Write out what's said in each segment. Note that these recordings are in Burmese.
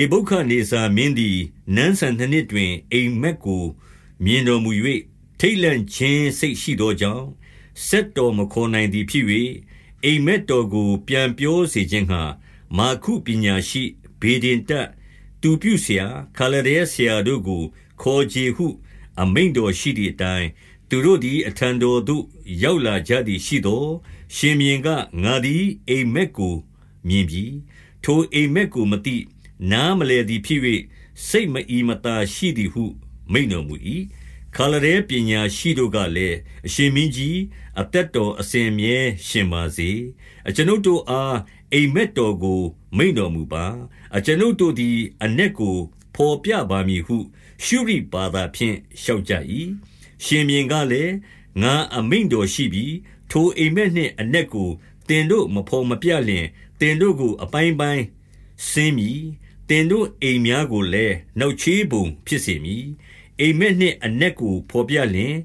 ေဗုခဒ်နေဇာမင်းသည် နန်းစံနှစ်နှစ်တွင်၊ အိပ်မက်ကို မြင်တော်မူ၍ ထိတ်လန့်ခြင်း စိတ်ရှိသော ကြောင့်၊ စက်တော်မခေါ်နိုင်သည်ဖြစ်၍၊ 2 အိပ်မက်တော်ကို ပြန်ပြောစေခြင်းငှါ မာဂု ပညာရှိ၊ ဗေဒင်တတ်၊ သူပြုဆရာ၊ ခါလဒဲဆရာတို့ကို ခေါ်ချေဟု အမိန့်တော်ရှိသည်အတိုင်း၊ သူတို့သည် အထံတော်သို့ ရောက်လာကြသည်ရှိသော်၊ 3 ရှင်ဘုရင်က၊ ငါသည် အိပ်မက်ကိုမြင်ပြီ။ ထိုအိပ်မက်ကိုမသိ၊ နားမလည်သည်ဖြစ်၍ စိတ်မအီ မသာရှိသည်ဟု မိန့်တော်မူ၏။ 4 ခါလဒဲပညာရှိတို့ကလည်း၊ အရှင်မင်းကြီး၊ အသက်တော်အစဉ်အမြဲ ရှင်ပါစေ။ အကျွန်ုပ်တို့အား အိပ်မက်တော်ကို မိန့်တော်မူပါ။ အကျွန်ုပ်တို့သည် အနက်ကို ဘော်ပြပါမည်ဟု၊ ရှုရိဘာသာဖြင့် လျှောက် ကြ၏။ 5 ရှင်ဘုရင်ကလည်း၊ ငါအမိန့်တော်ရှိပြီ။ ထိုအိပ် မက်နှင့်အနက်ကို သင်တို့မဘော်မပြလျှင်၊ သင်တို့ကို အပိုင်းပိုင်းစဉ်းမည်။ သင်တို့အိမ်များကိုလည်း နောက် ချေးပုံဖြစ်စေမည်။ 6 အိပ်မက်နှင့်အနက်ကို ဘော်ပြလျှင်၊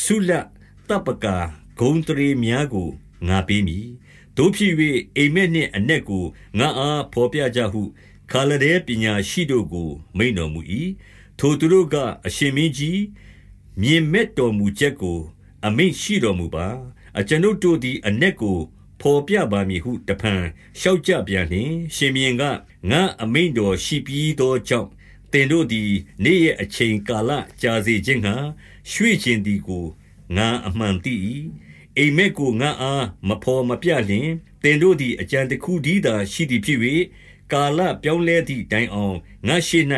ဆုလပ် သပ်ပကာ၊ ဂုဏ်အသရေများကို ငါပေးမည်။ သို့ဖြစ်၍၊ အိပ်မက်နှင့်အနက်ကို ငါ့အားဘော်ပြကြဟု၊ ခါလဒဲပညာ ရှိတို့ကို မိန့်တော်မူ၏။ 7 ထိုသူတို့က၊ အရှင်မင်းကြီး၊ မြင်မက်တော်မူချက် ကို အမိန့်ရှိတော်မူပါ။ အကျွန်ုပ်တို့သည် အနက်ကို ဘော်ပြပါမည်ဟု တဖန်လျှောက်ကြပြန်လျှင်၊ 8 ရှင်ဘုရင်က၊ ငါ့အမိန့်တော်ရှိပြီးသောကြောင့်၊ သင်တို့သည် နေ့ရက်အချိန်ကာလကြာစေခြင်းငှါ ရွှေ့ချင် သည်ကို ငါအမှန်သိ၏။ 9 အိပ်မက်ကို ငါ့အားမဘော်မပြလျှင်၊ သင်တို့ သည် အကြံတခုတည်းသာရှိသည်ဖြစ်၍၊ ကာလပြောင်း လဲသည်တိုင်အောင်၊ ငါ့ရှေ့၌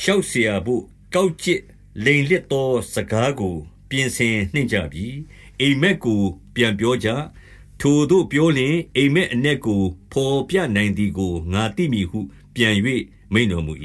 လျှောက်စရာဘို့ ကောက် ကျစ်လိမ်လစ်သောစကားကို ပြင်ဆင်နှင့်ကြပြီ။ အိပ်မက် ကို ပြန်ပြောကြ။ ထိုသို့ပြောလျှင်၊ အိပ်မက်အနက်ကို ဘော်ပြနိုင်သည်ကို ငါသိမည်ဟု ပြန်၍ မိန့်တော်မူ၏။ 10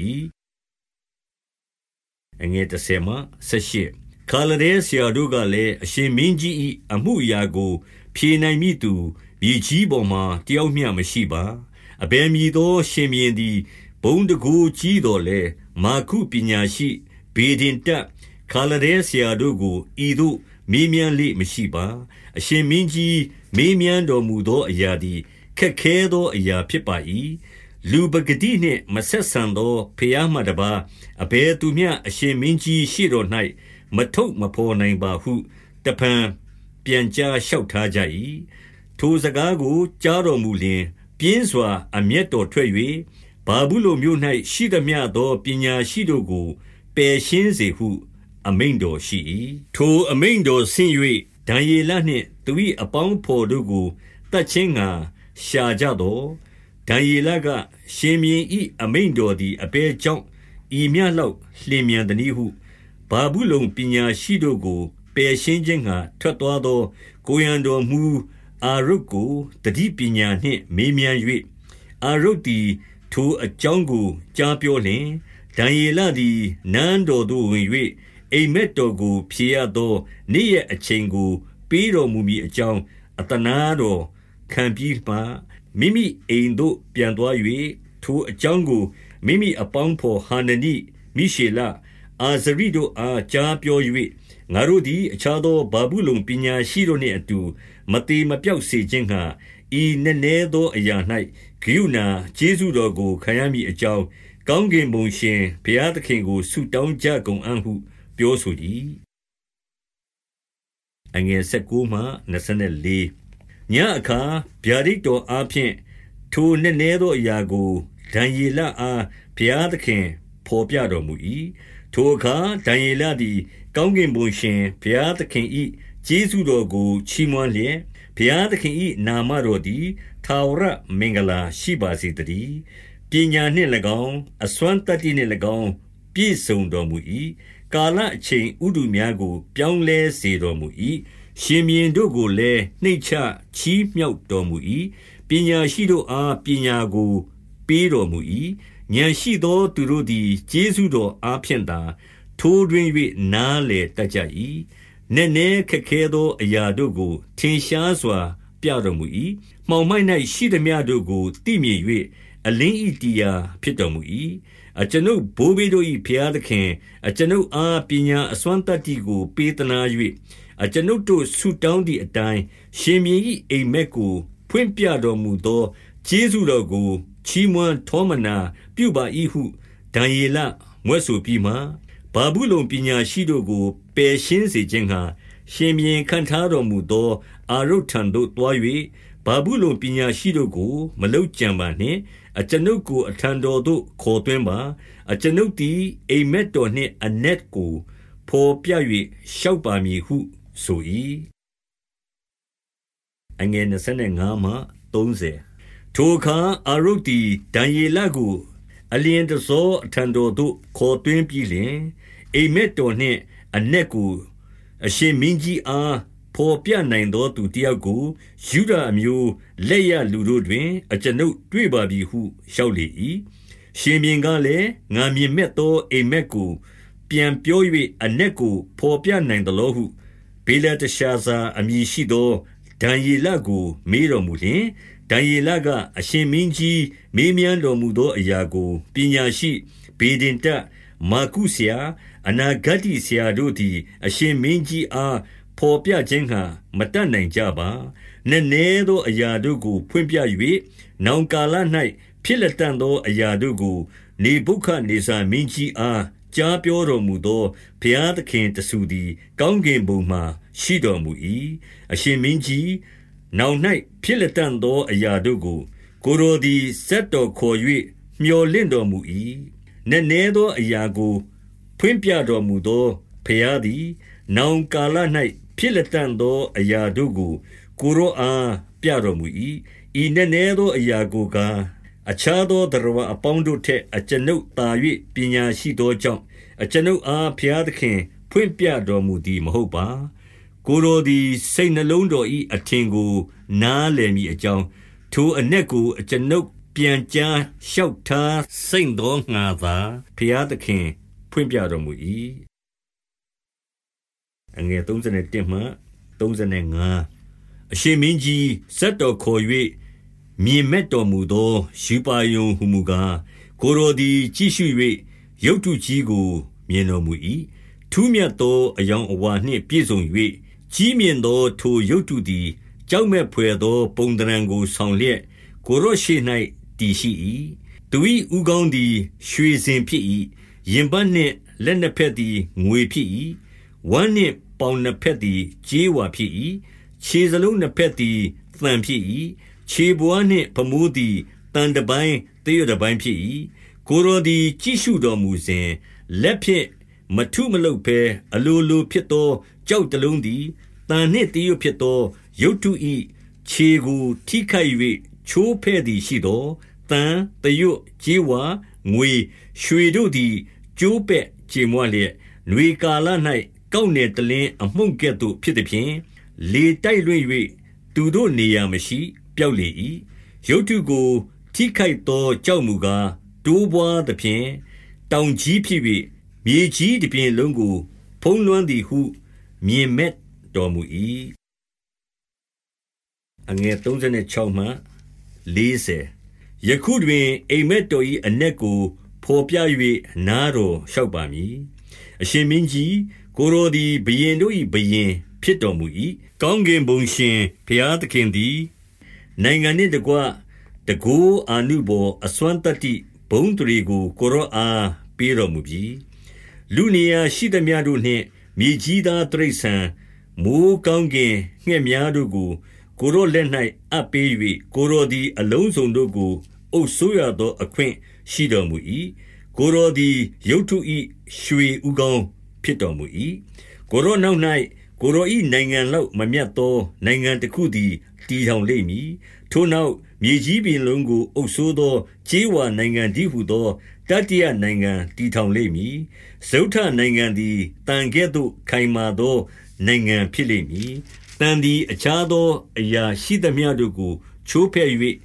ခါလဒဲဆရာတို့ကလည်း၊ အရှင်မင်းကြီး၏ အမှု အရာကို ဖြေနိုင်မည်သူ၊ မြေကြီးပေါ်မှာ တယောက်မျှ မရှိပါ။ အဘယ်မည်သော ရှင်ဘုရင်သည် ဘုန်းတန်ခိုး ကြီးသော်လည်း၊ မာဂုပညာရှိ၊ ဗေဒင်တတ်၊ ခါလဒဲ ဆရာတို့ကို ဤသို့မေးမြန်းလေ့မရှိပါ။ 11 အရှင်မင်းကြီး မေးမြန်းတော်မူသောအရာသည် ခက်ခဲသော အရာဖြစ်ပါ၏။ လူပကတိနှင့် မဆက်ဆံ သော ဘုရားမှတပါး အဘယ်သူမျှ အရှင်မင်းကြီး ရှေ့တော်၌ မထုတ်မဘော်နိုင်ပါဟု တဖန်ပြန်ကြား လျှောက်ထားကြ၏။ 12 ထိုစကားကို ကြားတော်မူလျှင် ပြင်းစွာ အမျက် တော်ထွက်၍၊ ဗာဗုလုန်မြို့၌ ရှိသမျှသော ပညာရှိတို့ကို ပယ်ရှင်းစေဟုအမိန့်တော်ရှိ၏။ 13 ထိုအမိန့်တော်ဆင့်၍ ဒံယေလနှင့် သူ၏ အပေါင်းအဘော်တို့ကို သတ်ခြင်းငှါ ရှာကြသော်၊ 14 ဒံယေလက၊ ရှင်ဘုရင်၏အမိန့်တော်သည် အဘယ်ကြောင့် ဤမျှလောက် လျင်မြန်သနည်းဟု၊ 15 ဗာဗုလုန်ပညာရှိတို့ကို ပယ်ရှင်းခြင်းငှါ ထွက် သွားသော ကိုယ်ရံတော်မှူးအာရုတ်ကို သတိပညာနှင့် မေးမြန်း၍၊ အာရုတ်သည် ထိုအကြောင်းကို ကြားပြော လျှင်၊ 16 ဒံယေလသည် နန်းတော်သို့ ဝင်၍ အိပ်မက် တော်ကို ဖြေရသော နေ့ရက်အချိန်ကို ပေးတော်မူမည် အကြောင်း အသနားတော်ခံပြီးမှ၊ 17 မိမိအိမ်သို့ပြန်သွား၍၊ ထိုအကြောင်းကို မိမိ အပေါင်းအဘော် ဟာနနိ၊ မိရှေလ၊ အာဇရိတို့အား ကြားပြော၍၊ 18 ငါတိုပသည် အခြားသော ဗာဗုလုန်ပညာရှိတို့ နှင့်အတူ မသေမပျောက်စေခြင်းငှါ၊ ဤနက်နဲသော အရာ၌ကရုဏာ ကျေးဇူးတော်ကို ခံရမည်အကြောင်း၊ ကောင်းကင်ဘုံရှင်ဘုရားသခင်ကို ဆုတောင်းကြကုန် အံ့ဟုပြောဆို၏။ 19 ညဉ့်အခါ ဗျာဒိတ်တော်အားဖြင့် ထိုနက်နဲသော အရာကို ဒံယေလအား ဘုရားသခင်ဘော်ပြတော်မူ၏။ 20 ထိုအခါ ဒံယေလသည် ကောင်းကင်ဘုံရှင် ဘုရားသခင်၏ ကျေးဇူးတော်ကို ချီးမွမ်းလျက်၊ ဘုရား သခင်၏ နာမတော်သည် ထာဝရမင်္ဂလာရှိပါစေ သတည်း။ ပညာနှင့်၎င်း၊ အစွမ်းသတ္တိနှင့်၎င်း ပြည့်စုံ တော်မူ၏။ 21 ကာလအချိန် ဥတုများကို ပြောင်းလဲစေတော် မူ၏။ ရှင်ဘုရင်တို့ကိုလည်း နှိမ့်ချချီးမြှောက်တော်မူ၏။ ပညာရှိတို့အားပညာကို ပေးတော်မူ၏။ ဥာဏ်ရှိသော သူတို့သည် ကျေးဇူးတော်အားဖြင့်သာ၊ ထိုးထွင်း၍ နားလည်တတ်ကြ၏။ 22 နက်နဲခက်ခဲသော အရာတို့ကို ထင်ရှားစွာ ပြတော်မူ၏။ မှောင်မိုက်၌ရှိသမျှတို့ကို သိမြင်၍ အလင်း ၏တည်ရာဖြစ်တော်မူ၏။ 23 အကျွန်ုပ် ဘိုးဘေးတို့၏ ဘုရားသခင်၊ အကျွန်ုပ် အား ပညာအစွမ်းသတ္တိကို ပေးသနား၍၊ အကျွန်ုပ်တို့ ဆုတောင်းသည်အတိုင်း၊ ရှင်ဘုရင်၏ အိပ်မက်ကို ဖွင့်ပြတော် မူသော ကျေးဇူးတော်ကို ချီးမွမ်းထောမနာ ပြုပါ၏ဟု ဒံယေလမြွက်ဆိုပြီးမှ၊ 24 ဗာဗုလုန်ပညာရှိတို့ကို ပယ်ရှင်းစေခြင်းငှါ၊ ရှင်ဘုရင်ခန့်ထားတော်မူသော အာရုတ်ထံသို့သွား၍၊ ဗာဗုလုန် ပညာရှိတို့ကို မလုပ်ကြံပါနှင့်။ အကျွန်ုပ်ကို အထံတော်သို့ခေါ်သွင်းပါ။ အကျွန်ုပ်သည် အိပ်မက် တော်နှင့် အနက်ကိုဘော်ပြ၍ လျှောက်ပါမည်ဟုဆို၏။ 25 ထိုအခါ အာရုတ်သည် ဒံယေလကို အလျင် တဆော အထံတော်သို့ ခေါ်သွင်းပြီးလျှင်၊ အိပ်မက်တော် နှင့်အနက်ကို အရှင်မင်းကြီးအား ဘော်ပြနိုင်သော သူတယောက်ကို ယုဒအမျိုး လက်ရလူတို့တွင် အကျွန်ုပ် တွေ့ပါပြီဟု လျှောက်လေ၏။ 26 ရှင်ဘုရင်ကလည်း၊ ငါမြင်မက်သော အိပ်မက်ကို ပြန်ပြော၍ အနက်ကို ဘော်ပြနိုင်သလောဟု၊ ဗေလတရှာ ဇာအမည်ရှိသော ဒံယေလကို မေးတော်မူလျှင်၊ 27 ဒံယေလက၊ အရှင်မင်းကြီးမေးမြန်းတော်မူ သောအရာကို ပညာရှိ၊ ဗေဒင်တတ်၊ မာဂုဆရာ၊ အနာ ဂတ္တိဆရာတို့သည် အရှင်မင်းကြီးအား ဘော်ခြင်းငှါ မတတ်နိုင်ကြပါ။ 28 နက်နဲသော အရာတို့ကို ဖွင့်ပြ၍၊ နောင်ကာလ၌ ဖြစ်လတံ့သော အရာတို့ကို နေဗုခဒ်နေဇာမင်းကြီးအား ကြားပြောတော်မူသော ဘုရားသခင်တဆူသည် ကောင်း ကင်ဘုံမှာ ရှိတော်မူ၏။ 29 အရှင်မင်းကြီး၊ နောင်၌ ဖြစ်လတံ့သော အရာ တို့ကို ကိုယ်တော်သည် စက်တော်ခေါ်၍ မြော်လင့်တော် မူ၏။ နက်နဲသောအရာကို ဖွင့်ပြတော်မူသော ဘုရား သည် နောင်ကာလ၌ ဖြစ်လတံ့သော အရာတို့ကို ကိုယ်တော်အားပြတော်မူ၏။ 30 ဤနက်နဲသောအရာကိုကား၊ အခြားသော သတ္တဝါအပေါင်းတို့ထက် အကျွန်ုပ်သာ၍ ပညာရှိသော ကြောင့်၊ အကျွန်ုပ်အား ဘုရားသခင် ဖွင့်ပြတော်မူသည် မဟုတ်ပါ။ ကိုယ်တော်သည် စိတ်နှလုံးတော်၏ အထင်ကို နားလည်မည်အကြောင်း၊ ထိုအနက်ကို အကျွန်ုပ်ပြန်ကြား လျှောက်ထားစိမ့်သောငှါသာ ဘုရားသခင် ဖွင့်ပြတော် မူ၏။ 31 အရှင်မင်းကြီး၊ စက်တော်ခေါ်၍ မြင်မက်တော် မူသော ရူပါရုံဟူမူကား၊ ကိုယ်တော်သည် ကြည့်ရှု၍ ရုပ်တုကြီးကို မြင်တော်မူ၏။ ထူးမြတ်သော အရောင်အဝါ နှင့် ပြည်စုံ၍၊ ကြီးမြင့်သော ထိုရုပ်တုသည် ကြောက်မက် ဘွယ်သော ပုံသဏ္ဌာန်ကိုဆောင်လျက် ကိုယ်တော်ရှေ့၌ တည်ရှိ၏။ 32 သူ၏ ဦးခေါင်းသည် ရွှေစင်ဖြစ်၏။ ရင်ပတ်နှင့် လက်နှစ်ဘက်သည် ငွေဖြစ်၏။ 33 ဝမ်းနှင့်ပေါင်နှစ်ဘက်သည် ကြေးဝါဖြစ်၏။ ခြေသလုံးနှစ်ဘက်သည် သံဖြစ်၏။ ခြေဘဝါးနှင့် ဖမိုး သည် သံတပိုင်းသရွတ်တပိုင်းဖြစ်၏။ 34 ကိုယ်တော်သည် ကြည့်ရှုတော်မူစဉ်၊ လက်ဖြင့် မထုမလုပ်ဘဲ အလိုလိုဖြစ်သော ကျောက်တလုံးသည် သံနှင့်သရွတ်ဖြစ်သော ရုပ်တု၏ခြေကို ထိခိုက်၍ ချိုးဖဲ့ သည်ရှိသော်၊ 35 သံ၊ သရွတ်၊ ကြေးဝါ၊ ငွေ၊ ရွှေတို့သည် ကျိုးပဲ့ ကြေမွလျက်၊ နွေကာလ၌ ကောက်နယ်တလင်း အမုန့် ကဲ့သို့ဖြစ်သဖြင့်၊ လေတိုက်လွှင့်၍ သူတို့နေရာမရှိ၊ ပျောက်လေ၏။ ရုပ်တုကို ထိခိုက်သော ကျောက်မူကား၊ တိုးပွားသဖြင့် တောင်ကြီးဖြစ်၍၊ မြေကြီးတပြင်လုံးကို ဖုံးလွှမ်းသည်ဟု မြင်မက်တော်မူ၏။ 36 ယခုတွင် အိပ်မက်တော်၏အနက်ကို ဘော်ပြ၍ နားတော်လျှောက်ပါမည်။ 37 အရှင်မင်းကြီး၊ ကိုယ်တော်သည် ဘုရင်တို့၏ ဘုရင်ဖြစ်တော်မူ၏။ ကောင်းကင်ဘုံရှင် ဘုရားသခင် သည် နိုင်ငံနှင့်တကွ တန်ခိုးအာနုဘော်အစွမ်းသတ္တိ ဘုန်းအသရေကို ကိုယ်တော်အား ပေးတော်မူပြီ။ 38 လူနေရာ ရှိသမျှတို့နှင့် မြေကြီးသား တိရစ္ဆာန်၊ မိုဃ်းကောင်းကင်ငှက်များတို့ကို ကိုယ်တော်လက်၌ အပ် ပေး၍၊ ကိုယ်တော်သည် အလုံးစုံတို့ကို အုပ်စိုးရသော အခွင့်ရှိတော်မူ၏။ ကိုယ်တော်သည် ရုပ်တု၏ ရွှေဦး ခေါင်းဖြစ်တော်မူ၏။ 39 ကိုယ်တော်နောက်၌ ကိုယ်တော်၏ နိုင်ငံ လောက်မမြတ်သော နိုင်ငံတခုသည် တည်ထောင်လိမ့် မည်။ ထိုနောက်၊ မြေကြီးတပြင်လုံးကို အုပ်စိုးသော ကြေးဝါနိုင်ငံတည်းဟူသော တတိယနိုင်ငံတည်ထောင် လိမ့်မည်။ 40 စတုတ္ထနိုင်ငံသည် သံကဲ့သို့ခိုင်မာသော နိုင်ငံ ဖြစ်လိမ့်မည်။ သံသည် အခြားသောအရာရှိသမျှတို့ကို ချိုးဖဲ့၍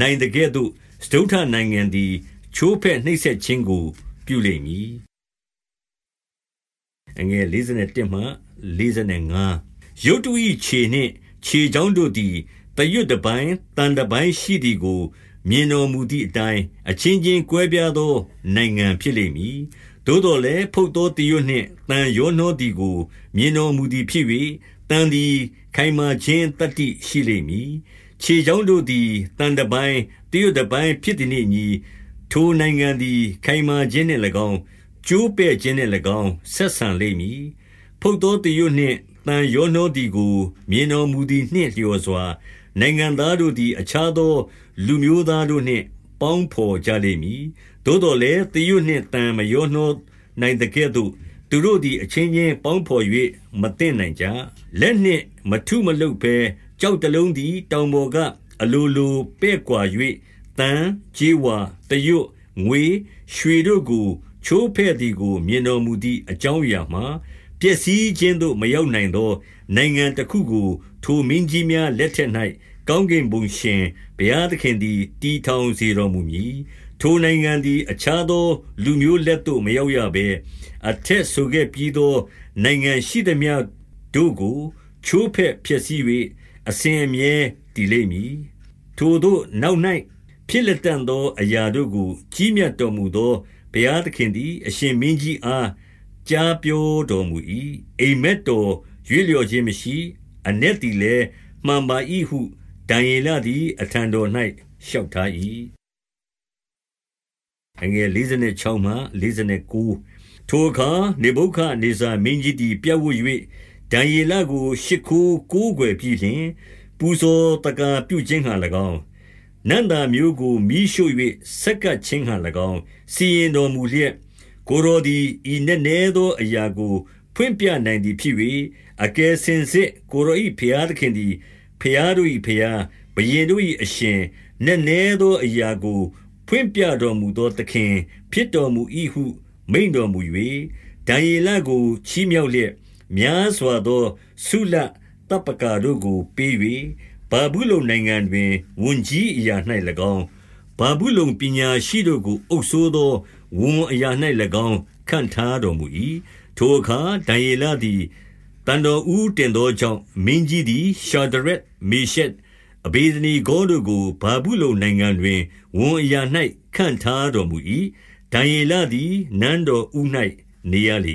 နိုင်သကဲ့သို့၊ စတုတ္ထနိုင်ငံသည် ချိုးဖဲ့နှိပ်စက်ခြင်း ကို ပြုလိမ့်မည်။ 41 ရုပ်တု၏ခြေနှင့် ခြေချောင်းတို့သည် သရွတ် တပိုင်း သံတပိုင်းရှိသည်ကို မြင်တော်မူသည်အတိုင်း၊ အချင်းချင်းကွဲပြားသော နိုင်ငံဖြစ်လိမ့်မည်။ သို့သော် လည်း ဖုတ်သောသရွတ်နှင့် သံရောနှောသည်ကို မြင် တော်မူသည်ဖြစ်၍၊ သံသည်ခိုင်မာခြင်း သတ္တိရှိလိမ့်မည်။ 42 ခြေချောင်းတို့သည် သံတပိုင်းသရွတ်တပိုင်း ဖြစ်သည်နှင့်အညီ၊ ထိုနိုင်ငံသည် ခိုင်မာခြင်းနှင့်၎င်း၊ ကျိုးပဲ့ခြင်းနှင့်၎င်းဆက်ဆံလိမ့်မည်။ 43 ဖုတ်သောသရွတ်နှင့် သံရောနှောသည်ကို မြင် တော်မူသည်နှင့် လျော်စွာ၊ နိုင်ငံသားတို့သည် အခြား သော လူမျိုးသားတို့နှင့် ပေါင်းဘော်ကြလိမ့်မည်။ သို့သော် လည်း၊ သရွတ်နှင့်သံမရောနှောနိုင်သကဲ့သို့၊ သူတို့သည် အချင်းချင်း ပေါင်းဘော်၍ မသင့်နိုင်ကြ။ 44 လက်နှင့်မထုမလုပ်ဘဲ ကျောက်တလုံးသည် တောင်ပေါ်ကအလို လိုပဲ့ကွာ၍၊ 45 သံကြေးဝါ၊ သရွတ်၊ ငွေ၊ ရွှေတို့ကို ချိုးဖဲ့သည်ကို မြင်တော်မူသည် အကြောင်းအရာမှာ၊ ပျက်စီးခြင်းသို့ မရောက်နီုင်သော နိုင်ငံတခုကို ထိုမင်းကြီးများ လက်ထက်၌ ကောင်းကင်ဘုံရှင် ဘုရားသခင်သည် တည်ထောင်စေတော်မူမည်။ ထိုနိုင်ငံသည် အခြားသော လူမျိုးလက်သို့ မရောက်ရဘဲ၊ အထက်ဆိုခဲ့ပြီးသော နိုင်ငံ ရှိသမျှတို့ကို ချိုးဖဲ့ဖျက်ဆီး၍ အစဉ်အမြဲတည်လိမ့်မည်။ ထိုသို့နောက်၌ ဖြစ်လတံ့သောအရာတို့ကို ကြီးမြတ်တော် မူသော ဘုရားသခင်သည် အရှင်မင်းကြီးအား ကြားပြော တော်မူ၏။ အိပ်မက်တော်ရွေ့လျော့ခြင်းမရှိ။ အနက် သည်လည်း မှန်ပါ၏ဟု ဒံယေလသည် အထံတော်၌ လျှောက်ထား၏။ 46 ထိုအခါ နေဗုခဒ်နေဇာ မင်းကြီးသည် ပြပ်ဝပ်၍ ဒံယေလကို ရှိခိုးကိုးကွယ်ပြီးလျှင်၊ ပူဇော်သက္ကာပြုခြင်းငှါ၎င်း၊ နံ့သာမျိုးကို မီးရှို့၍ ဆပ်ကပ်ခြင်းငှါ၎င်း စီရင် တော်မူလျက်၊ 47 ကိုယ်တော်သည် ဤနက်နဲသောအရာကို ဖွင့်ပြ နိုင်သည်ဖြစ်၍၊ အကယ်စင်စစ် ကိုယ်တော်၏ ဘုရား သခင်သည် ဘုရားတို့၏ဘုရား၊ ဘုရင်တို့၏ အရှင်၊ နက်နဲသော အရာကိုဖွင့်ပြတော်မူသော သခင်ဖြစ် တော်မူ၏ဟု မိန့်တော်မူ၍၊ 48 ဒံယေလကို ချီးမြှောက်လျက်၊ များစွာသော ဆုလပ်သပ်ပကာ တို့ကိုပေး၍၊ ဗာဗုလုန်နိုင်ငံတွင် ဝန်ကြီး အရာ၌၎င်း၊ ဗာဗုလုန်ပညာရှိတို့ကို အုပ်စိုးသော ဝန်အရာ၌၎င်း ခန့်ထားတော်မူ၏။ 49 ထိုအခါ ဒံယေလသည် သံတော်ဦးတင်သော ကြောင့်၊ မင်းကြီးသည် ရှာဒရက်၊ မေရှက်၊ အဗေဒနေ ဂေါတို့ကို ဗာဗုလုန်နိုင်ငံတွင် ဝန်အရာ၌ ခန့်ထားတော် မူ၏။ ဒံယေလသည် နန်းတော်ဦး၌ နေရလေ